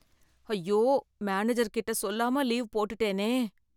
ஐயோ மேனேஜர் கிட்ட சொல்லாம லீவ் போட்டுட்டேனே!